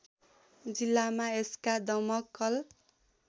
जिल्लामा यसका दमकल